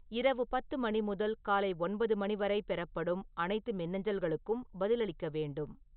இரவு பத்து மணி முதல் காலை ஒன்பது மணி வரை பெறப்படும் அனைத்து மின்னஞ்சல்களுக்கும் பதிலளிக்க வேண்டும்